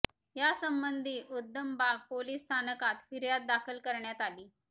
या संबंधी उद्यमबाग पोलीस स्थानकात फिर्याद दाखल करण्यात आली